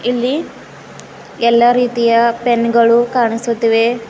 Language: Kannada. ಇಲ್ಲಿ ಎಲ್ಲ ರೀತಿಯ ಪೆನ್ ಗಳು ಕಾಣಿಸುತ್ತಿವೆ